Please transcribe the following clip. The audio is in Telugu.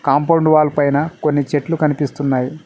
కాంపౌండ్ వాల్ పైన కొన్ని చెట్లు కనిపిస్తున్నాయి.